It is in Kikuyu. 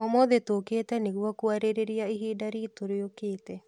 ũmũthĩ tũkĩte nĩguo kũarĩrĩria ihinda ritũ rĩũkĩte.